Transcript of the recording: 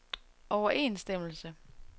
overensstemmelse